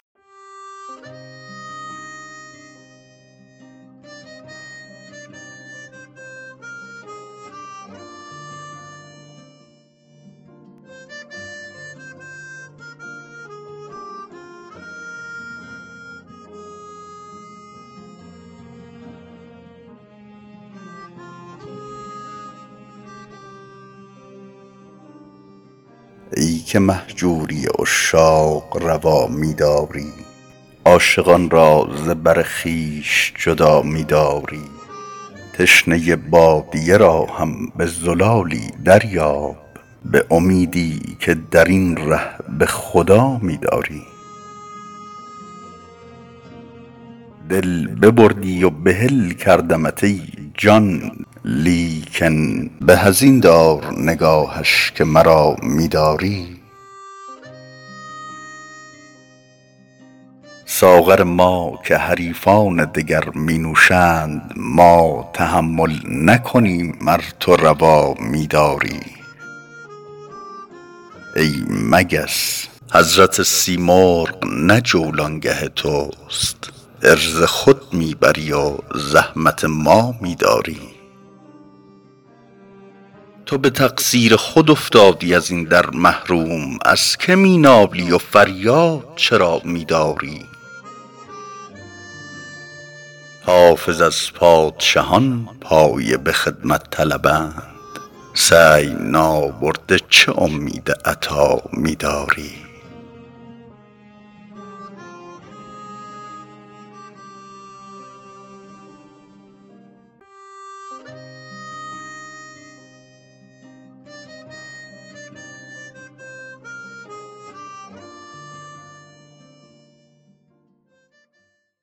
ای که مهجوری عشاق روا می داری عاشقان را ز بر خویش جدا می داری تشنه بادیه را هم به زلالی دریاب به امیدی که در این ره به خدا می داری دل ببردی و بحل کردمت ای جان لیکن به از این دار نگاهش که مرا می داری ساغر ما که حریفان دگر می نوشند ما تحمل نکنیم ار تو روا می داری ای مگس حضرت سیمرغ نه جولانگه توست عرض خود می بری و زحمت ما می داری تو به تقصیر خود افتادی از این در محروم از که می نالی و فریاد چرا می داری حافظ از پادشهان پایه به خدمت طلبند سعی نابرده چه امید عطا می داری